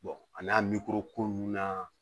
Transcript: a n'a ko nunnu na